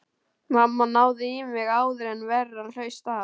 Mamma náði í mig áður en verra hlaust af.